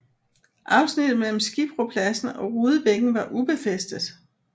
Afsnittet mellem Skibropladsen og Rudebækken var ubefæstet